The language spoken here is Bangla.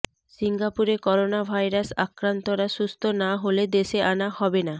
সিঙ্গাপুরে করোনাভাইরাস আক্রান্তরা সুস্থ না হলে দেশে আনা হবে না